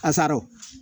A sara